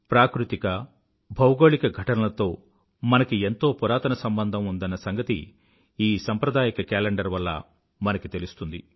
ప్రాకృతిక భౌగోళిక ఘటనలతో మనకి ఎంతో పురాతన సంబంధం ఉందన్న సంగతి ఈ సాంప్రదాయక కేలెండర్ వల్ల మనకి తెలుస్తుంది